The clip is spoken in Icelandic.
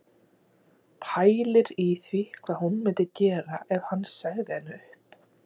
Pælir í því hvað hún myndi gera ef hann segði henni upp